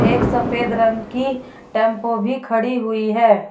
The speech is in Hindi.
एक सफेद रंग की टेंपो भी खड़ी हुई है।